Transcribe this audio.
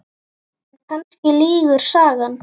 En kannski lýgur sagan.